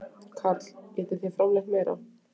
Karl: Getið þið framleitt meira?